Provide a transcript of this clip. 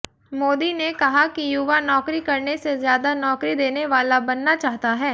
मोदी ने कहा कि युवा नौकरी करने से ज्यादा नौकरी देने वाला बनना चाहता है